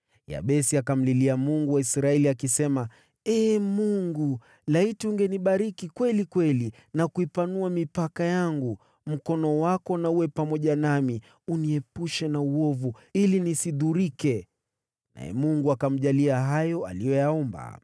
Yabesi akamlilia Mungu wa Israeli akisema, “Ee Mungu, laiti ungenibariki kweli kweli na kuipanua mipaka yangu! Mkono wako na uwe pamoja nami, uniepushe na uovu ili nisidhurike!” Naye Mungu akamjalia hayo aliyoyaomba.